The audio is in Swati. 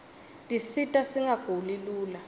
tisita singaguli lula